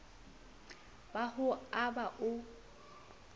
ba ho o aba o